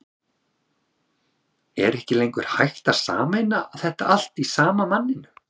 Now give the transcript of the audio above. Er ekki lengur hægt að sameina þetta allt í sama manninum?